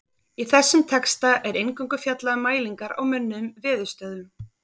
Í þessum texta er eingöngu fjallað um mælingar á mönnuðum veðurstöðvum.